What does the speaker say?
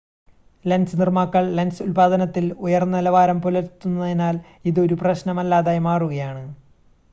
lens നിർമ്മാതാക്കൾ lens ഉൽപ്പാദനത്തിൽ ഉയർന്ന നിലവാരം പുലർത്തുന്നതിനാൽ ഇത് ഒരു പ്രശ്‌നമല്ലാതായി മാറുകയാണ്